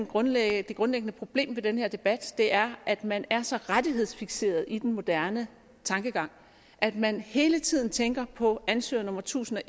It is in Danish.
grundlæggende problem ved den her debat er at man er så rettighedsfikseret i den moderne tankegang at man hele tiden tænker på ansøger nummer tusind og